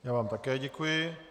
Já vám také děkuji.